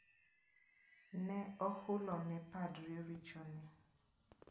Ne ohulone padri richone.